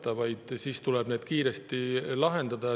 Need probleemid tuleb kiiresti lahendada.